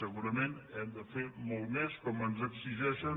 segurament hem de fer molt més com ens exigeixen